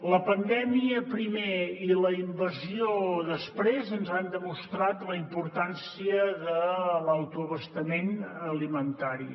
la pandèmia primer i la invasió després ens han demostrat la importància de l’autoabastament alimentari